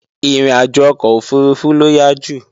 Ìrìnàjò ọkọ̀ òfurufú ló yá jù